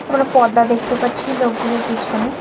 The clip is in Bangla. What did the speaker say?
আমরা পর্দা দেখতে পাচ্ছি লোকগুলোর পিছনে।